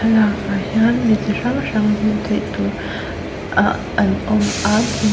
lakah hian mi chi hrang hrang hmuh theih tûr ah an awm a thing--